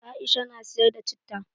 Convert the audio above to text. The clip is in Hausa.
Aisha na siyar da citta.